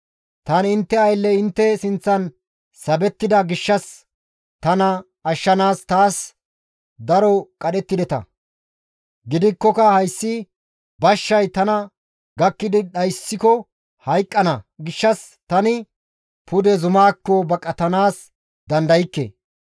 Tani intte aylley intte sinththan sabettida gishshas tana ashshanaas taas daro qadhettideta; gidikkoka hayssi bashshay tana gakkidi dhayssiko hayqqana gishshas tani pude zumaakko baqatanaas dandaykke.